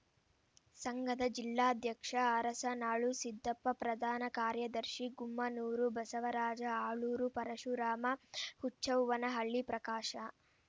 ಸಂಘದ ಜಿಲ್ಲಾಧ್ಯಕ್ಷ ಅರಸನಾಳು ಸಿದ್ದಪ್ಪ ಪ್ರಧಾನ ಕಾರ್ಯದರ್ಶಿ ಗುಮ್ಮನೂರು ಬಸವರಾಜ ಆಲೂರು ಪರಶುರಾಮ ಹುಚ್ಚವ್ವನಹಳ್ಳಿ ಪ್ರಕಾಶ